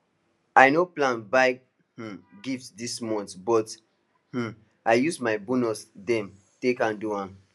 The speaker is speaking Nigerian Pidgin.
i no plan buy um gift dis month but um i use my bonus them take handle am